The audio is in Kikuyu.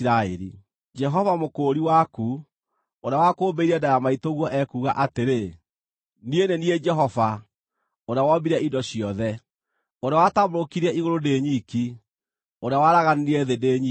“Jehova, Mũkũũri waku, ũrĩa wakũũmbĩire nda ya maitũguo, ekuuga atĩrĩ: “Niĩ nĩ niĩ Jehova ũrĩa wombire indo ciothe, ũrĩa watambũrũkirie igũrũ ndĩ nyiki, ũrĩa waaraganirie thĩ ndĩ nyiki,